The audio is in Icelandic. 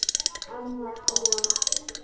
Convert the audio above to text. Amma Dúa.